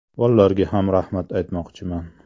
Bollarga ham rahmat aytmoqchiman.